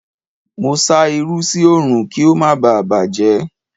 Mo sá irú sí Òòrùn kí ó má baà bàjẹ́.